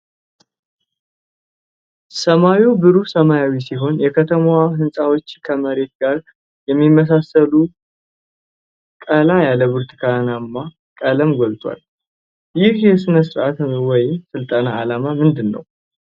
ሰማዩ ብሩህ ሰማያዊ ሲሆን፣ የከተማዋ ሕንፃዎች ከመሬት ጋር በሚመሳሰል ቀላ ያለ ቡናማ ቀለም ጎልተዋል። የዚህ ሥነ-ስርዓት ወይም ስልጠና ዓላማ ምንድን ነው?